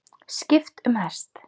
Skipt um hest.